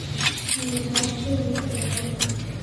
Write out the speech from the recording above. миграция викторовна